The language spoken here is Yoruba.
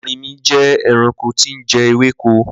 Ẹrìnmí jẹ́ ẹ̀ràṇkò tìì ǹ jẹ̀ èwèkò.